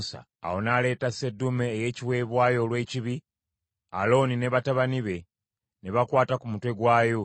Awo n’aleeta seddume ey’ekiweebwayo olw’ekibi; Alooni ne batabani be ne bakwata ku mutwe gwayo.